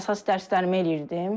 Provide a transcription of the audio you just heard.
Əsas dərslərimi eləyirdim.